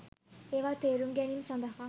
ඒවා තේරුම් ගැනීම සදහා